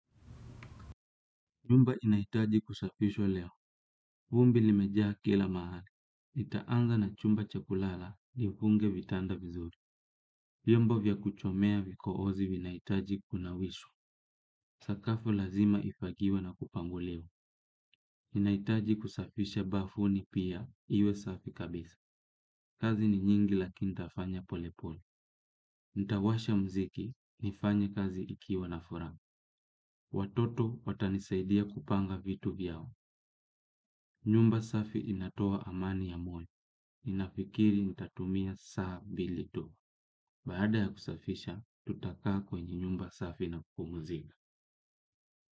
Nyumba inahitaji kusafishwa leo. Vumbi limejaa kila mahali. Nitaanza na chumba cha kulala, nifunge vitanda vizuri. Vyomba vya kuchomea vikoozi vinahitaji kunawishwa. Sakafu lazima ifagiwe na kupanguliwa. Inahitaji kusafisha bafuni pia, iwe safi kabisa. Kazi ni nyingi lakini nitafanya pole pole. Ntawasha mziki, nifanya kazi ikiwa na furaha. Watoto watanisaidia kupanga vitu vyao nyumba safi inatoa amani ya moyo ninafikiri nitatumia saa mbili tu. Baada ya kusafisha, tutakaa kwenye nyumba safi na kupumzika.